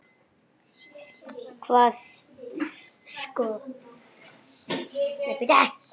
Það kosti annað eins.